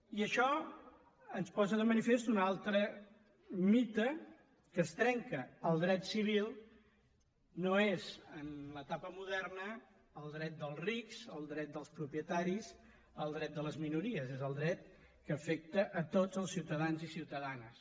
i això ens posa de manifest un altre mite que es trenca el dret civil no és en l’etapa moderna el dret dels rics el dret dels propietaris el dret de les minories és el dret que afecta a tots els ciutadans i ciutadanes